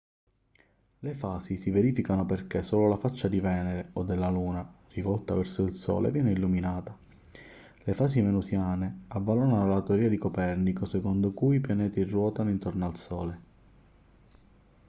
le fasi si verificano perché solo la faccia di venere o della luna rivolta verso il sole viene illuminata. le fasi venusiane avvalorarono la teoria di copernico secondo cui i pianeti ruotano intorno al sole